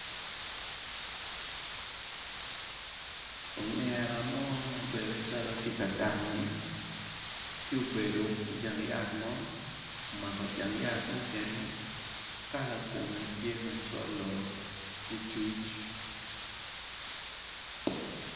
Ongera mo mabedo calo tye ka dange tye obedo i jang yat mo omako jang yat mukene kala kome tye macolo licuc.